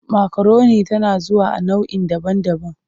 Makaroni tana zuwa a nau'i daban-daban.